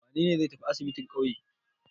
Wane ne zai tafi asibin ƙauye?